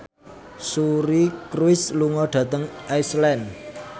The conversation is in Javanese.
Suri Cruise lunga dhateng Iceland